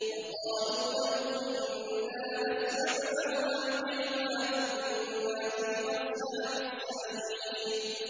وَقَالُوا لَوْ كُنَّا نَسْمَعُ أَوْ نَعْقِلُ مَا كُنَّا فِي أَصْحَابِ السَّعِيرِ